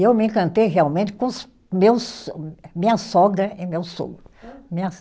E eu me encantei realmente com os, meus so, minha sogra e meu sogro. Minha